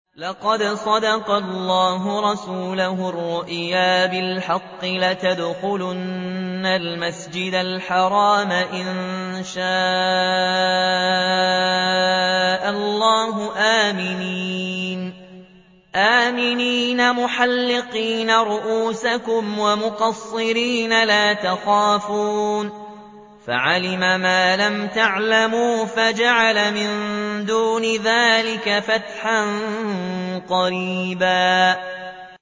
لَّقَدْ صَدَقَ اللَّهُ رَسُولَهُ الرُّؤْيَا بِالْحَقِّ ۖ لَتَدْخُلُنَّ الْمَسْجِدَ الْحَرَامَ إِن شَاءَ اللَّهُ آمِنِينَ مُحَلِّقِينَ رُءُوسَكُمْ وَمُقَصِّرِينَ لَا تَخَافُونَ ۖ فَعَلِمَ مَا لَمْ تَعْلَمُوا فَجَعَلَ مِن دُونِ ذَٰلِكَ فَتْحًا قَرِيبًا